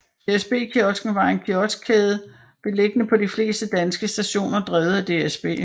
DSB Kiosken var en kioskkæde beliggende på de fleste danske stationer drevet af DSB